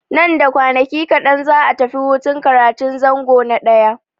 Nan da kwanaki kaɗan za'a tafi hutun karatun zango na ɗaya.